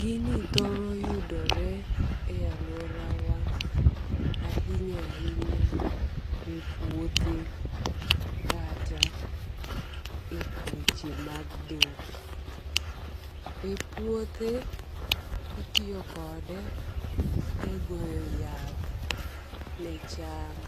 Gini thoro yudore e aluorawa ahinya ahinya e puothe kata e weche mag dhok. E puothe itiyo kode e goyo yath ne cham